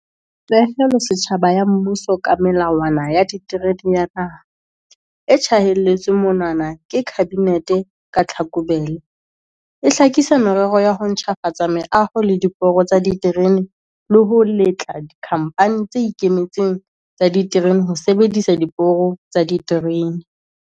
Pehelo setjhaba ya mmuso ka Melawana ya Diterene ya Naha, e tjhaelletsweng monwana ke Kabinete ka Tlhakubele, e hlakisa merero ya ho ntjhafatsa meaho le diporo tsa diterene le ho letla dikhamphani tse ikemetseng tsa diterene ho sebedisa diporo tsa diterene.